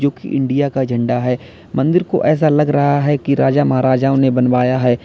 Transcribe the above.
India का झंडा है मंदिर को ऐसा लग रहा है कि राजा महाराजाओं ने बनवाया है।